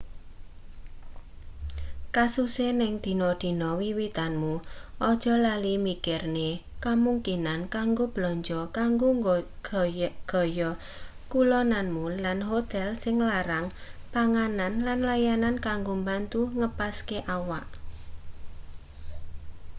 kususe ning dina-dina wiwitanmu aja lali mikirne kemungkinan kanggo belanja kanggo gaya-kulonanmu lan hotel sing larang panganan lan layanan kanggo mbantu ngepaske awak